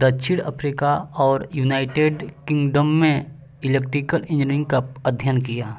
दक्षिण अफ्रीका और United Kingdom में इलेक्ट्रिकल इंजीनियरिंग का अध्ययन किया